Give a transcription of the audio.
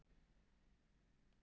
Það er alveg glórulaust.